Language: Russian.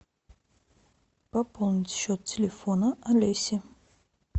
пополнить счет телефона олеси